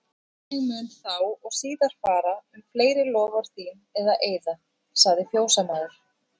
Þannig mun þá og síðar fara um fleiri loforð þín og eiða, sagði fjósamaður.